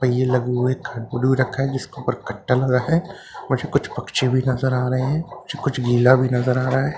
पहिए लगे हुए हैं भी रखा है जिसके ऊपर कट्टा लगा है और मुझे कुछ पक्षी भी नजर आ रहे हैं मुझे कुछ गीला भी नजर आ रहा है।